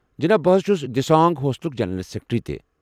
جناب، بہٕ حظ چھُس دِسانٛگ ہوسٹلُک جنرل سٮ۪کرٮ۪ٹری تہِ۔